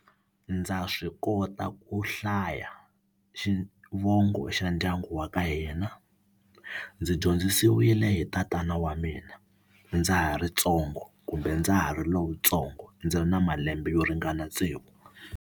Ndza swi kota ku hlaya xivongo xa ndyangu wa ka hina ndzi dyondzisiwile hi tatana wa mina ndza ha ri tsongo kumbe ndza ha ri lowutsongo ndzi ri na malembe yo ringana tsevu.